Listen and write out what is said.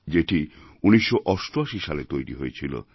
যেটি১৯৮৮ সালে তৈরি হয়েছিল